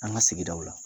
An ka sigidaw la